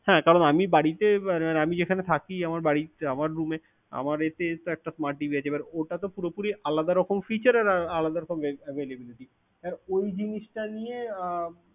হ্যাঁ কারন আমি বাড়িতে আমি যেখানে থাকি আমার room এ আমার এতে একটা smart TV আছে, ওটা তো পুরোপুরি আলাদা রকম feature আর আলাদা রকম availability এবার ওই জিনিস টা নিয়ে